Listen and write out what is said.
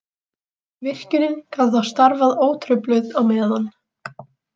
Virkjunin gat þá starfað ótrufluð á meðan.